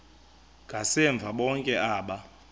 ngasemva bonke aba